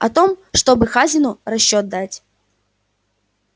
о том чтобы хазину расчёт дать